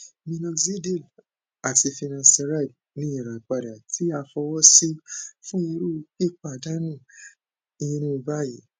minoxidil ati finasteride ni irapada ti a fọwọsi fun iru pipadanu irun bayii